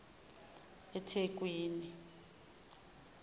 ithekwini